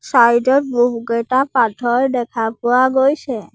Side ত বহুকেইটা পাথৰ দেখা পোৱা গৈছে।